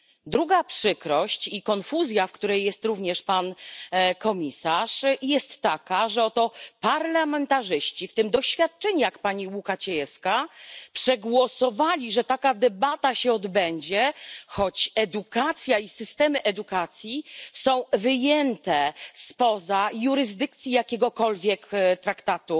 Druga przykrość i konfuzja, w której jest również pan komisarz, jest taka, że oto parlamentarzyści, w tym doświadczeni jak pani Łukacijewska, przegłosowali, że taka debata się odbędzie, choć edukacja i systemy edukacji są wyjęte spoza jurysdykcji jakiegokolwiek traktatu